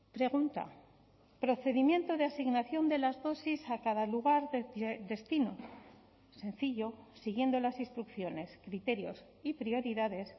pregunta procedimiento de asignación de las dosis a cada lugar de destino sencillo siguiendo las instrucciones criterios y prioridades